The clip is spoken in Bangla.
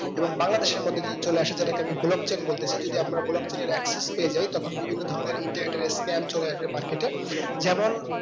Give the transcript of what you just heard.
এবং বাংলাদেশের মধ্যে যদি চলে আসে যেটাকে আমি block chain বলতেছি যদি আপনারা block chain এর axis পেয়েযাই তখন বিভিন্ন ধরণের internet এর scam চলে আসবে market এ যেমন